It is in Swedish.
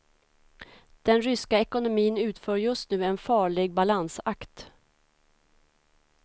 Den ryska ekonomin utför just nu en farlig balansakt.